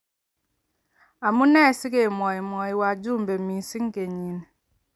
Amu nee si kemwai mwai wajumbe mising kenyini.